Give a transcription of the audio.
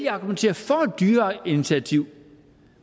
at argumentere for et dyrere initiativ